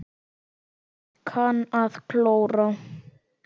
Kann að klóra.